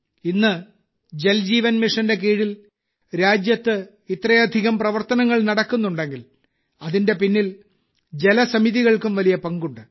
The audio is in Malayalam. ഇന്ന് ജൽ ജീവൻ മിഷന്റെ കീഴിൽ രാജ്യത്ത് ഇത്രയധികം പ്രവർത്തനങ്ങൾ നടക്കുന്നുണ്ടെങ്കിൽ അതിന്റെ പിന്നിൽ ജലസമിതികൾക്കും വലിയ പങ്കുണ്ട്